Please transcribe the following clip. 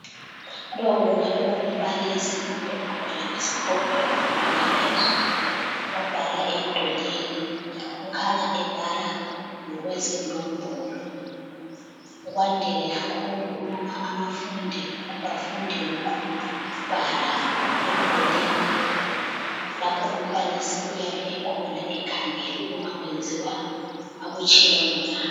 Lowu kungaba kungumbalisi kumbe umntwana wesikolo emfundweni yaphezulu obhala emdulini. Kukhanya ebhala ngokwezinombolo. Kwandile kakhulu ukuba abafundi bafunde ngokubhala emdulini lapho umbalisi uyabe ekhona ekhangele ukuba kwenziwa akutshileyo na.